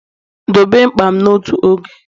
dobe mkpa m n'otu oge!